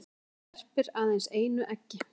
hann verpir aðeins einu eggi